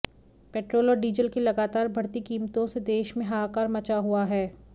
petrol और diesel की लगातार बढ़ती कीमतों से देश में हाहाकार मचा हुआ है